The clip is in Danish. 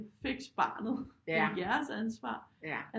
Fix barnet det er jeres ansvar